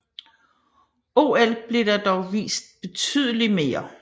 OL bliver der dog vist betydeligt mere